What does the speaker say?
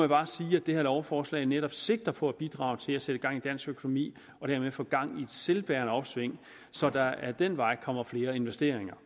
bare sige at det her lovforslag netop sigter på at bidrage til at sætte gang i dansk økonomi og dermed få gang i et selvbærende opsving så der ad den vej kommer flere investeringer